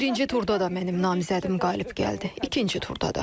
Birinci turda da mənim namizədim qalib gəldi, ikinci turda da.